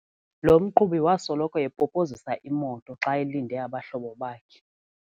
Lo mqhubi wasoloko epopozisa imoto xa elinde abahlobo bakhe.